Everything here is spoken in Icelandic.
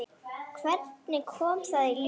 Hvernig kom það í ljós?